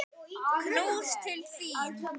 Knús til þín.